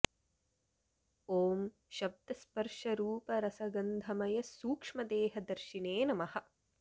ॐ शब्द स्पर्श रूप रस गन्धमय सूक्ष्मदेह दर्शिने नमः